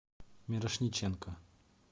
мирошниченко